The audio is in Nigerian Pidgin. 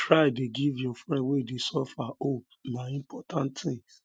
try dey give your friends wey dey suffer hope na important tin